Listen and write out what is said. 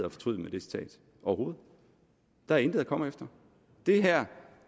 at fortryde ved det citat overhovedet der er intet at komme efter det her